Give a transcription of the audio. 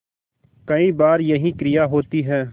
कई बार यही क्रिया होती है